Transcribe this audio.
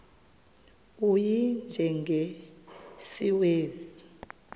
u y njengesiwezi